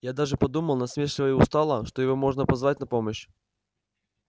я даже подумал насмешливо и устало что его можно позвать на помощь